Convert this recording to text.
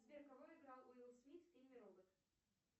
сбер кого играл уилл смит в фильме робот